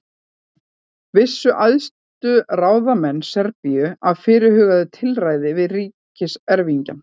Vissu æðstu ráðamenn Serbíu af fyrirhuguðu tilræði við ríkiserfingjann?